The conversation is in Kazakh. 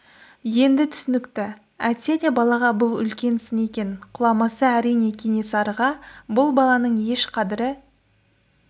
енді түсінікті әйтсе де балаға бұл үлкен сын екен құламаса әрине кенесарыға бұл баланың еш қадірі